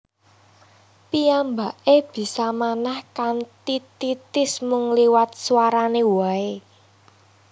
Piyambake bisa manah kanthi titis mung liwat swarane wae